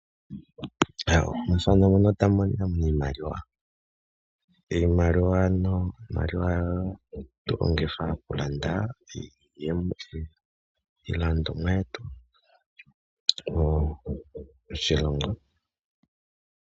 Omusamane nguno ta monika miimaliwa. Iimaliwa ano ohatu yi longitha, okulanda iilandomwa oshowo iilandithomwa yetu moshilongo.